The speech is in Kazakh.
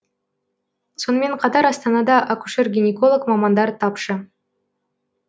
сонымен қатар астанада акушер гинеколог мамандар тапшы